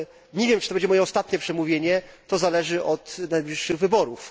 Nie wiem, czy to będzie moje ostatnie przemówienie, to zależy od najbliższych wyborów.